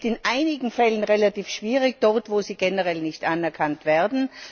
Das ist in einigen Fällen relativ schwierig, dort wo sie generell nicht anerkannt werden.